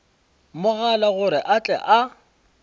mogala gore a tle a